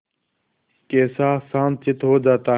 कैसा शांतचित्त हो जाता है